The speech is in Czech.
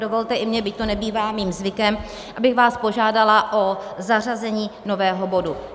Dovolte i mně, byť to nebývá mým zvykem, abych vás požádala o zařazení nového bodu.